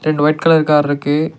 ரெண்டு white colour கார்ருக்கு .